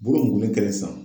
Bolo in jigilen kelen san.